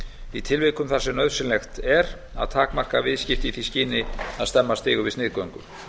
í tilvikum þar sem nauðsynlegt er að takmarka viðskipti í því skyni að stemma stigu við sniðgöngu